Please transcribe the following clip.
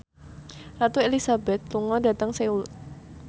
Ratu Elizabeth lunga dhateng Seoul